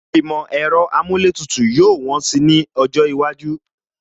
Ìmọ̀ ẹ̀rọ amúlétùtù yóò wọ́n si ní ọjọ́ iwájú